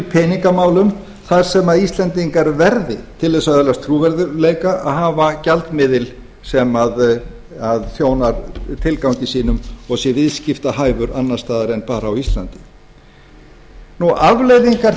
peningamálum þar sem íslendingar verði til að öðlast trúverðugleika að hafa gjaldmiðil sem þjónar tilgangi sínu og sé viðskiptahæfur annars staðar en bara á írlandi afleiðingar